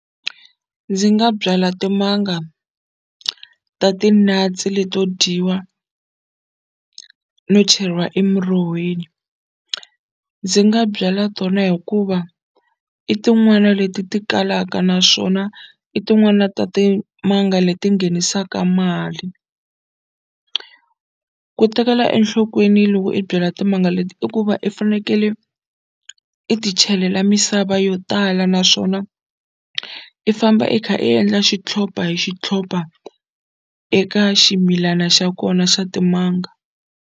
Ndzi nga byala timanga ta ti-nuts leto dyiwa no cheriwa emurhoweni ndzi nga byala tona hikuva i tin'wana leti ti kalaka naswona i tin'wana ta timanga leti nghenisaka mali ku tekela enhlokweni loko i byala timanga leti i ku va i fanekele i ti chelela misava yo tala naswona i famba i kha i endla xitlhopa hi xitlhopa eka ximilana xa kona xa timanga.